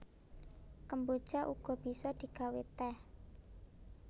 Kemboja uga bisa digawé tèh